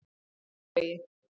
Sléttuvegi